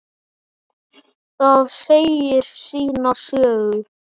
Það segir sína sögu.